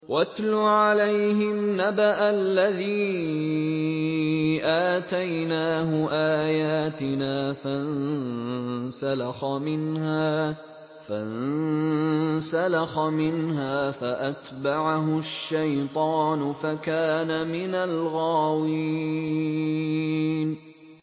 وَاتْلُ عَلَيْهِمْ نَبَأَ الَّذِي آتَيْنَاهُ آيَاتِنَا فَانسَلَخَ مِنْهَا فَأَتْبَعَهُ الشَّيْطَانُ فَكَانَ مِنَ الْغَاوِينَ